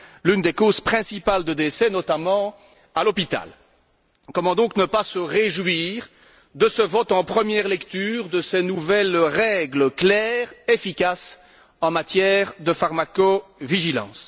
l'une des causes principales de décès, notamment à l'hôpital. Comment ne pas se réjouir de ce vote, en première lecture, de ces nouvelles règles claires et efficaces en matière de pharmacovigilance?